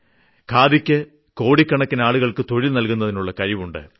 ഖാദിക്ക് കോടിക്കണക്കിന് ആൾക്കാർക്ക് തൊഴിൽ നൽകുന്നതിനുള്ള കഴിവുണ്ട്